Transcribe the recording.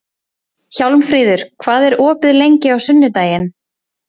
Hjálmfríður, hvað er opið lengi á sunnudaginn?